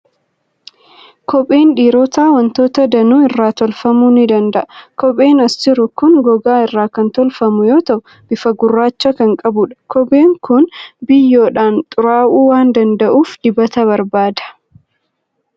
Kopheen dhiirotaa waantota danuu irraa tolfamuu ni danda'a. Kopheen as jiru kun gogaa irraa kan tolfamu yoo ta'u, bifa gurraacha kan qabudha. Kopheen kun biyyoodhaan xuraa'uu waan danda'uuf, dibata barbaada.